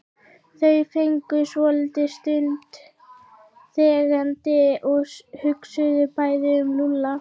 Þau gengu svolitla stund þegjandi og hugsuðu bæði um Lúlla.